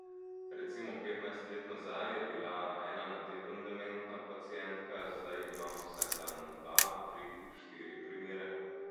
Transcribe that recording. Recimo petnajst let nazaj je bila ena na teden dementna pacientka, zdaj imam vsak dan dva, tri, štiri primere...